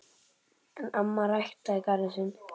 En amma ræktaði garðinn sinn.